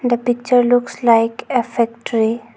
The picture looks like a factory.